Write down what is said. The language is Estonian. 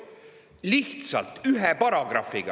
Lihtsalt ühe paragrahviga!